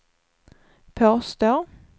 påstår